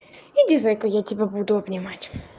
иди зайка я тебя буду обнимать